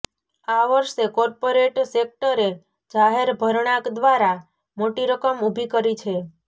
આ વર્ષે કોર્પોરેટ સેકટરે જાહેર ભરણાં દ્વારા મોટી રકમ ઊભી કરી છે